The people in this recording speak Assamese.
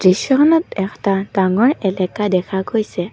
দৃশ্যখনত এটা ডাঙৰ এলেকা দেখা গৈছে।